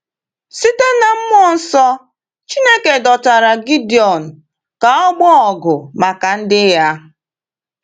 Site n’mmụọ nsọ, Chineke dọtara Gidion ka ọ gbaa ọgụ maka ndị Ya.